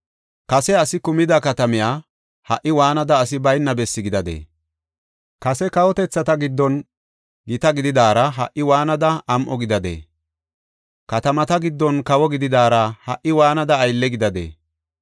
Kase asi kumida katamiya ha77i waanada asi bayna bessi gidadee? Kase kawotethata giddon gita gididaara ha77i waanada am7o gidadee? Katamata giddon kawo gididaara ha77i waanada aylle gidadee?